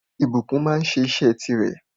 Ìbùkún máa sẹ́ isẹ́ ti rè